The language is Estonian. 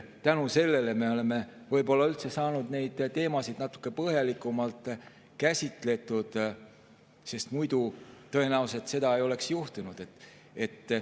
Tänu sellele me oleme võib-olla üldse saanudki neid teemasid natuke põhjalikumalt käsitleda, muidu seda tõenäoliselt ei oleks juhtunud.